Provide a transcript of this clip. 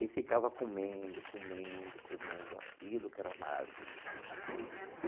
E ficava comendo, comendo, comendo aquilo que era uma maravilha.